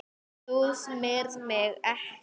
Þú smyrð mig ekki.